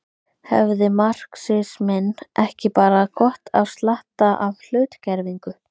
Hefði marxisminn ekki bara gott af slatta af hlutgervingu.